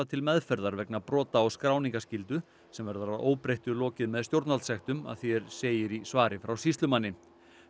til meðferðar vegna brota á skráningarskyldu sem verður að óbreyttu lokið með stjórnvaldssektum að því er segir í svari frá sýslumanni